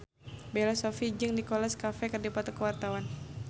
Bella Shofie jeung Nicholas Cafe keur dipoto ku wartawan